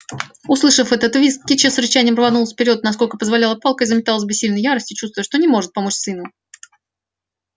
услышав этот визг кичи с рычанием рванулась вперёд насколько позволяла палка и заметалась в бессильной ярости чувствуя что не может помочь сыну